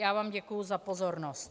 Já vám děkuji za pozornost.